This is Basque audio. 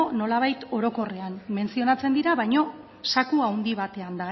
nolabait orokorrean menzionatzen dira baina zaku handi batean